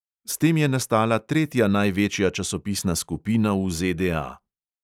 S tem je nastala tretja največja časopisna skupina v ZDA.